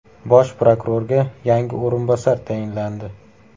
Bosh prokurorga yangi o‘rinbosar tayinlandi.